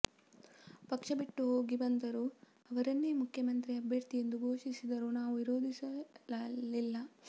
ಪಕ್ಷ ಬಿಟ್ಟು ಹೋಗಿ ಬಂದರೂ ಅವರನ್ನೇ ಮುಖ್ಯಮಂತ್ರಿ ಅಭ್ಯರ್ಥಿ ಎಂದು ಘೋಷಿಸಿದರೂ ನಾವು ವಿರೋಧಿಸಲಿಲ್ಲ